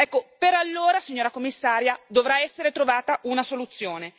Ecco, per allora, signora Commissaria, dovrà essere trovata una soluzione.